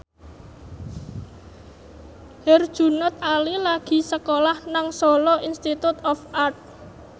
Herjunot Ali lagi sekolah nang Solo Institute of Art